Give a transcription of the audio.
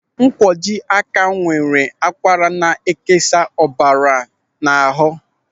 Ńkwọji áká nwere akwara na-ekesa ọbara n'ahụ.